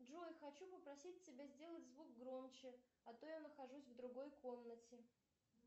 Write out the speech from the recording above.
джой хочу попросить тебя сделать звук громче а то я нахожусь в другой комнате